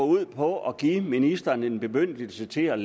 ud på at give ministeren en bemyndigelse til at